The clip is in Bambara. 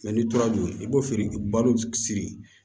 n'i tora k'o i b'o feere balo sigi